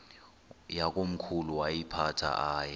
yakomkhulu woyiphatha aye